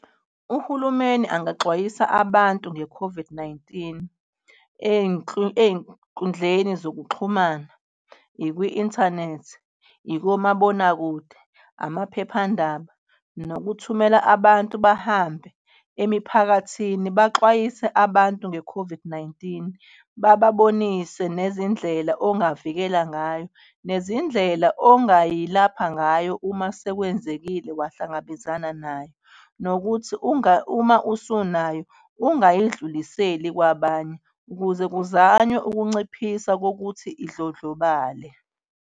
Uhulumeni angaxwayisa abantu nge-COVID-19 eyinkundleni zokuxhumana, ikwi-inthanethi, ikomabonakude, amaphephandaba nokuthumela abantu bahambe emiphakathini. Baxwayise abantu nge-COVID-19 bababonise nezindlela ongavikela ngayo nezindlela ongayilapha ngayo uma sekwenzekile wahlangabezana nayo nokuthi uma usunayo, ungayidluliseli kwabanye ukuze kuzanywe ukunciphisa kokuthi idlondlobale.